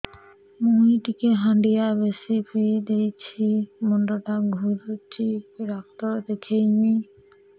ମୁଇ ଟିକେ ହାଣ୍ଡିଆ ବେଶି ପିଇ ଦେଇଛି ମୁଣ୍ଡ ଟା ଘୁରୁଚି କି ଡାକ୍ତର ଦେଖେଇମି